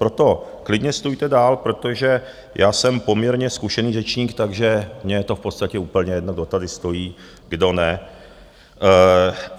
Proto klidně stůjte dál, protože já jsem poměrně zkušený řečník, takže mně je to v podstatě úplně jedno, kdo tady stojí, kdo ne.